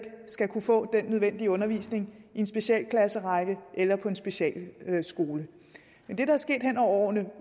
skal kunne få den nødvendige undervisning i en specialklasserække eller på en specialskole men det der er sket hen over årene